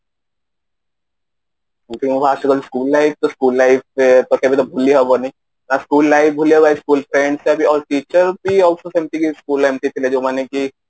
school life school life ରେ ତ କେବେବି ଭୁଲି ହବନି ନା school life ଭୁଲି ହବ ନା school friends ଆଉ teacher ବି ଆଉ ସବୁ ସେମିତି କି school ରେ ଏମିତି ଥିଲେ ଯୋଉମାନେ କି